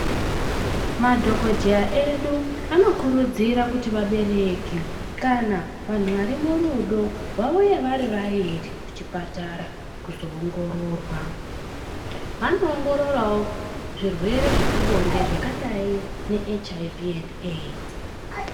Madhogodheya edu anokurudzira vabereki kana vantu vari murudo vauye vari vairi kuchipatara kuzoongororwa. Vanoongororavo zvirwere zvepabonde zvakadai nehiv endi eidzi.